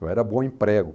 Eu era bom em prego.